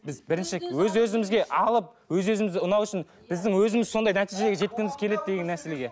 біз бірінші өз өзімізге алып өз өзімізге ұнау үшін біздің өзіміз сондай нәтижеге жеткіміз келеді деген мәселеге